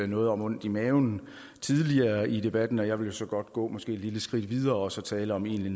noget om ondt i maven tidligere i debatten og jeg vil så godt gå måske et lille skridt videre og så tale om egentlig